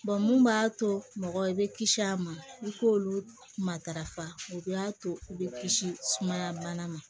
mun b'a to mɔgɔ i bɛ kisi a ma i k'olu matarafa u b'a to u bɛ kisi sumaya bana ma